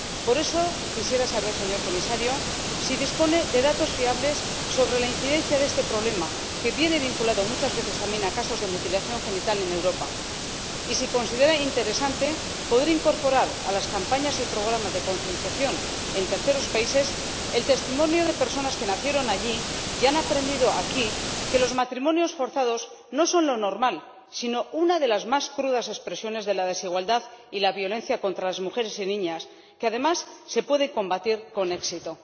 Por eso, quisiera saber, señor Comisario, si dispone de datos fiables sobre la incidencia de este problema, que viene vinculado muchas veces también a casos de mutilación genital en Europa, y si considera interesante poder incorporar a las campañas y programas de concienciación en terceros países el testimonio de personas que nacieron allí y han aprendido aquí que los matrimonios forzados no son lo normal, sino una de las más crudas expresiones de la desigualdad y la violencia contra las mujeres y niñas que, además, se puede combatir con éxito.